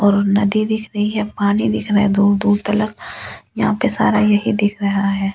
और नदी दिख रही है पानी दिख रहा है दूर दूर तलक यहाँ पे सारा यही दिख रहा है।